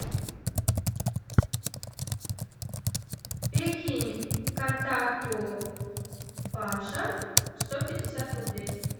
перекинь контакту паша сто пятьдесят рублей